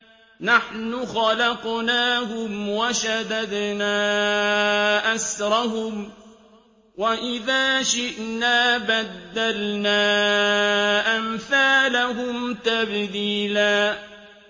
نَّحْنُ خَلَقْنَاهُمْ وَشَدَدْنَا أَسْرَهُمْ ۖ وَإِذَا شِئْنَا بَدَّلْنَا أَمْثَالَهُمْ تَبْدِيلًا